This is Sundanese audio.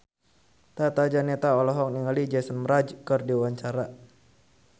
Tata Janeta olohok ningali Jason Mraz keur diwawancara